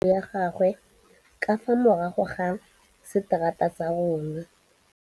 Nkgonne o agile ntlo ya gagwe ka fa morago ga seterata sa rona.